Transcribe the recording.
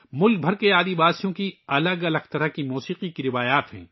ملک بھر کے قبائلیوں کی موسیقی کی مختلف روایات ہیں